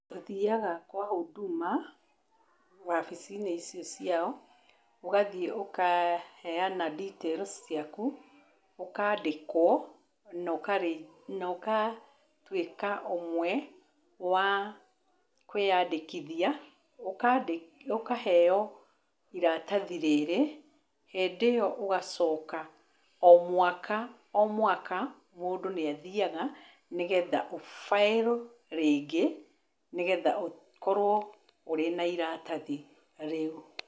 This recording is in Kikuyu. Ũthiaga kwa Huduma wabici-inĩ icio ciao, ũgathiĩ ũkaheana details ciaku ũkandĩkwo na ũgatuĩka ũmwe wa kwĩyandĩkithia, ũkaheo iratathi rĩrĩ, hĩndĩ ĩyo ũgacoka o mwaka o mwaka mũndũ nĩ athiaga nĩgetha ũ file rĩngĩ nĩgetha ũkorwo ũrĩ na iratathi rĩu.